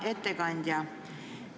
Hea ettekandja!